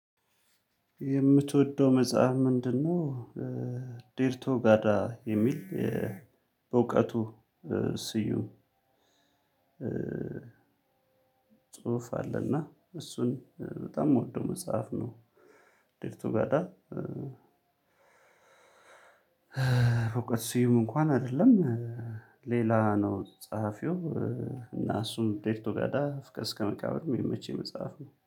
የምትወደው መጽሐፍ ምንድነው? ዴርቶጋዳ የሚል በእውቀቱ ስዩም ጽሁፍ አለና እሱን በጣም የምወደው መጽሐፍ ነው። ዴርቶጋዳ በእውቀቱ ስዩም እንኩዋን አይደለም። ሌላ ነው ፀሐፊው እና እሱን ዴርቶጋዳ ፍቅር እስከ መቃብር የሚመቸኝ መጽሐፍ ነው